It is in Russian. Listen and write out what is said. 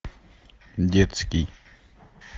детский